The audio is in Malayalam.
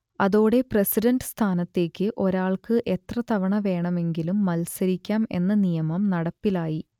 അതോടെ പ്രസിഡന്റ് സ്ഥാനത്തേക്ക് ഒരാൾക്ക് എത്രതവണ വേണമെങ്കിലും മത്സരിക്കാം എന്ന നിയമം നടപ്പിലായി